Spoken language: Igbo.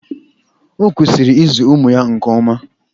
O kwesịrị ịzụ ụmụ ya nke ọma